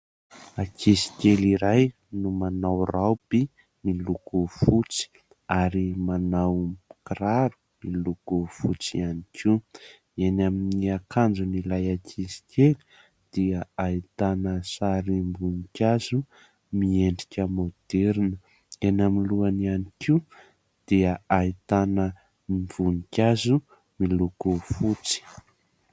Ankizikely iray no manao raoby miloko fotsy ary manao kiraro miloko fotsy ihany koa. Eny amin'ny akanjon'ilay ankizikely dia ahitana sarim-boninkazo miendrika maoderina, eny amin'ny lohany ihany koa dia ahitana voninkazo miloko fotsy.